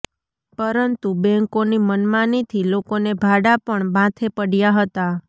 પરંતુ બેંકોની મનમાનીથી લોકોને ભાડા પણ માથે પડયા હતા